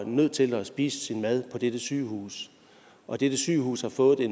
nødt til at spise sin mad på dette sygehus og dette sygehus har fået